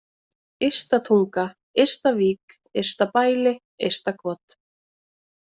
Ysta-Tunga, Ysta-Vík, Ystabæli, Ystakot